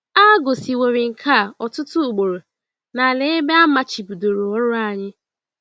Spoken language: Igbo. A gosiworị nke a ọtụtụ ugboro n’ala ebe a a machibidoro ọrụ anyị.